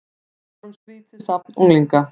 Við vorum skrýtið safn unglinga.